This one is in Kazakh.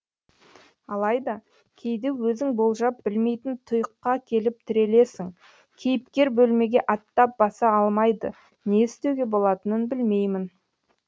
алайда кейде өзің болжап білмейтін тұйыққа келіп тірелесің кейіпкер бөлмеге аттап баса алмайды не істеуге болатынын білмеймін